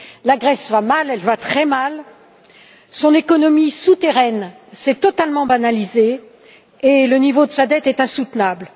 La Grèce va mal, elle va très mal. Son économie souterraine s'est totalement banalisée et le niveau de sa dette est intenable.